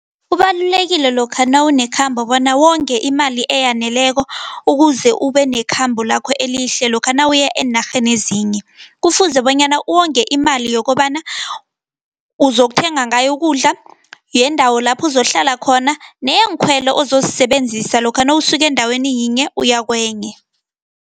Kubalulekile lokha nawunekhambo bona wonge imali eyaneleko, ukuze ube nekhambo lakho elihle, lokha nawuya eenarheni ezinye. Kufuze bonyana uwonge imali yokobana uzokuthenga ngayo ukudla, yendawo lapho uzokuhlala khona, neyeenkhwelo ozozisebenzisa lokha nawusuka endaweni yinye uya kwenye.